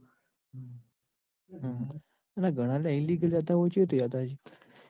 બધું ઘણા illegal રીતે હોય એ કેવી રીતે હોય છે?